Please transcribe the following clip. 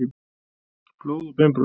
Blóð og beinbrot.